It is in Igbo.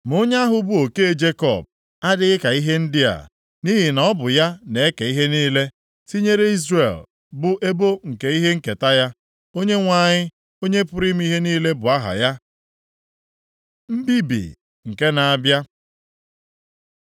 Ma Onye ahụ bụ Oke Jekọb adịghị ka ihe ndị a, nʼihi na Ọ bụ ya na-eke ihe niile, tinyere Izrel bụ ebo nke ihe nketa ya. Onyenwe anyị, Onye pụrụ ime ihe niile bụ aha ya. Mbibi nke na-abịa